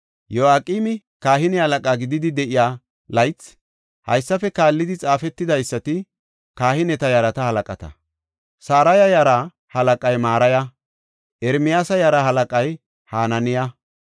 Yoyaaqimi kahine halaqa gididi de7iya laythi, haysafe kaallidi xaafetidaysati kahineta yarata halaqata. Saraya yaraa halaqay Maraya. Ermiyaasa yaraa halaqay Hananiya.